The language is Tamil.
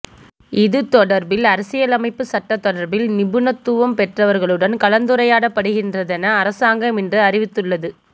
இது தொடர்பில் அரசியலமைப்பு சட்டம் தொடர்பில் நிபுணத்துவம் பெற்றவர்களுடன் கலந்துரையாடப்படுகின்றதென அரசாங்கம் இன்று அறிவித்துள்ளது